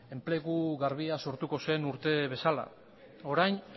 enplegu garbia sortuko zen urte bezala orain